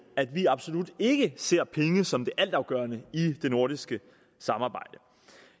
at vi absolut ikke ser penge som det altafgørende i det nordiske samarbejde